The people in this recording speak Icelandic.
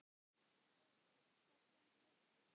Helgi: Hvað stendur upp úr?